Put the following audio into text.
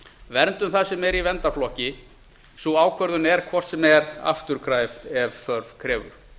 verndum það sem er í verndarflokki sú ákvörðun er hvort eð er afturkræf ef þörf krefur